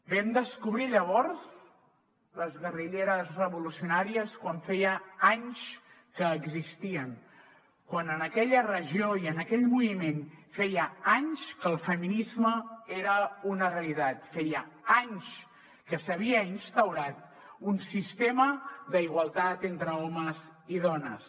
vam descobrir llavors les guerrilleres revolucionàries quan feia anys que existien quan en aquella regió i en aquell moviment feia anys que el feminisme era una realitat feia anys que s’havia instaurat un sistema d’igualtat entre homes i dones